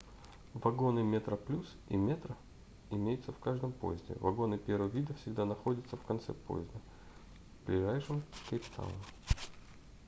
вагоны metroplus и metro имеются в каждом поезде вагоны первого вида всегда находятся в конце поезда ближайшем к кейптауну